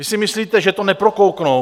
Vy si myslíte, že to neprokouknou?